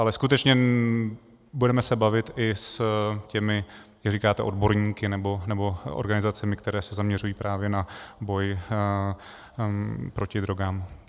Ale skutečně se budeme bavit i s těmi, jak říkáte, odborníky nebo organizacemi, které se zaměřují právě na boj proti drogám.